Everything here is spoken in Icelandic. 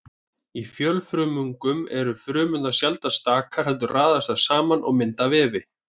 Í fjölfrumungum eru frumurnar sjaldnast stakar heldur raðast þær saman og mynda vefi.